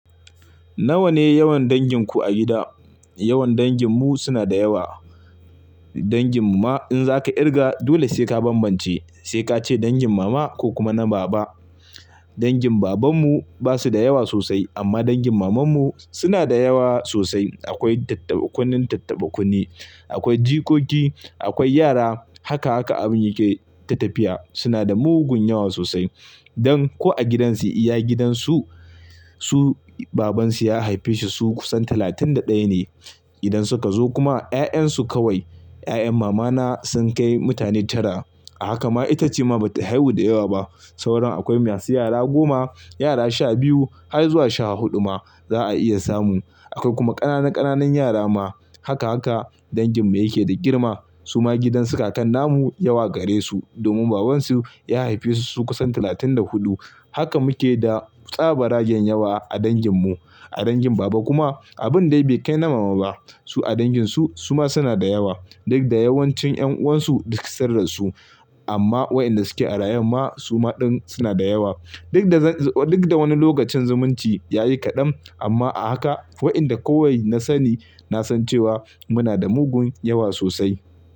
Nawa ne yawan danginku a gida? Yawan danginmu suna da yawa. Dangin mu ma in za ka kirga dole sai ka bambance, sai ka ce dangin mama ko kuma na baba. Dangin babanmu ba su da yawa sosai amma dangin mamanmu suna da yawa sosai. Akwai tattaba kunne tattaba kunne, akwai jikoki, akwai yara, haka haka abin yake tafiya. Suna da mugun yawa sosai. Dan ko a gidansu iya gidansu, su babansu ya haife su kusan talatin da ɗaya ne. Idan suka zo kuma 'ya'yan su kawai, 'ya'yan mamana sun kai mutane tara. A haka ma ita ce ma ba ta haihu da yawa ba. Saura akwai masu yara goma, yara sha biyu har zuwa sha huɗu ma za a iya samun. Akwai kuma ƙananan ƙananan yara ma. Haka haka danginmu yake da girma. Su ma gidansu kakan namu yawa gare su domin babansu ya haife su kusan talatin da huɗu. Haka muke da tsabar rage yawa a danginmu. A dangin baba kuma abun dai bai kai na mama ba. Su a danginsu su ma suna da yawa. Duk da yawancin 'yan'uwan su duk sararsu amma waɗanda suke a rayuwan ma su ma ɗin suna da yawa. Duk da wani lokacin zumunci ya yi kaɗan amma a haka waɗanda kawai na sani na san cewa muna da mugun yawa sosai.